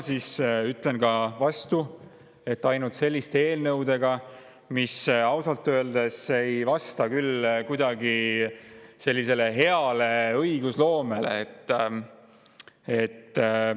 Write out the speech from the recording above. Ma ütlen vastu, et selliste eelnõudega, mis ausalt öeldes ei vasta küll kuidagi hea õigusloome [tavadele, ka kuhugi ei jõua.